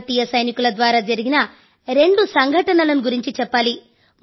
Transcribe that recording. భారతీయ సైనికుల ద్వారా జరిగిన రెండు సంఘటనలను గురించి చెప్పాలి